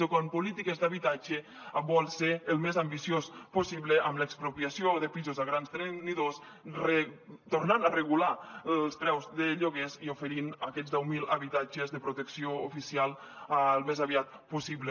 o quan en polítiques d’habitatge vol ser el més ambiciós possible amb l’expropiació de pisos a grans tenidors tornant a regular els preus de lloguers i oferint aquests deu mil habitatges de protecció oficial al més aviat possible